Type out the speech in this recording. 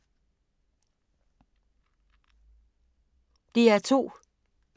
DR2